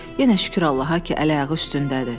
Yenə şükür Allaha ki, əl-ayağı üstündədir.